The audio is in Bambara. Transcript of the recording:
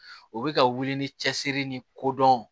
U bɛ ka wuli ni cɛsiri ni kodɔn